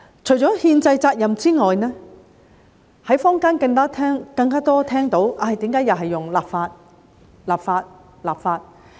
除了憲制責任外，在坊間聽到更多的是："為何又是要立法、立法、立法？